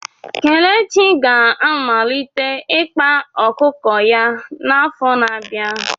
Kelechi ga-amalite ịkpa ọkụkọ ya n'afọ na-abịa.